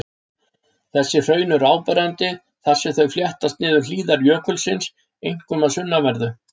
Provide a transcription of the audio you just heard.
Þessi hraun eru áberandi þar sem þau fléttast niður hlíðar jökulsins, einkum að sunnanverðu.